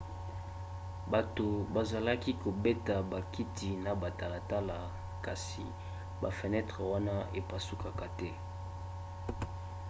bato bazalaki kobeta bakiti na batalatala kasi bafenetre wana epasukaka te